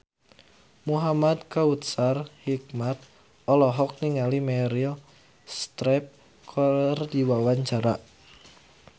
Muhamad Kautsar Hikmat olohok ningali Meryl Streep keur diwawancara